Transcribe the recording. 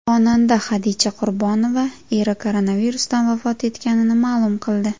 Xonanda Hadicha Qurbonova eri koronavirusdan vafot etganini ma’lum qildi .